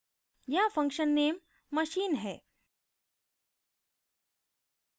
यहाँ function name machine है